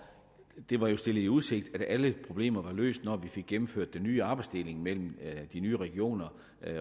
det var stillet i udsigt at alle problemer løst når vi fik gennemført den nye arbejdsdeling mellem de nye regioner